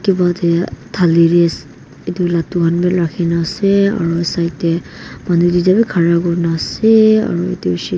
table teh thali ladoo kan bi rakhi na ase aro side tae manu tuita bi khara kurna ase aru edu besh --